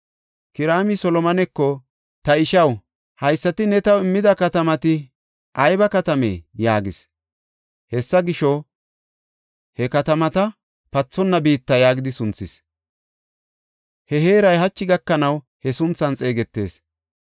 Kiraami Solomoneko, “Ta ishaw, haysati ne taw immida katamati ayba katamee?” yaagis. Hessa gisho, I he katamata, “Pathonna biitta” yaagidi sunthis. He heeray hachi gakanaw he sunthan xeegetees.